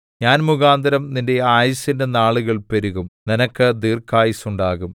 ഞാൻ മുഖാന്തരം നിന്റെ ആയുസിന്റെ നാളുകൾ പെരുകും നിനക്ക് ദീർഘായുസ്സ് ഉണ്ടാകും